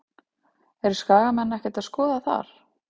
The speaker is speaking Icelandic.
Eru Skagamenn ekkert að skoða þar?